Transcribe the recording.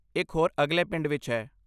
ਇੱਕ ਹੋਰ ਅਗਲੇ ਪਿੰਡ ਵਿੱਚ ਹੈ।